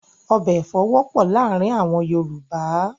Ọbẹ̀ èfọ̀ wọ́pọ̀ láàárìn àwọn Yorùbá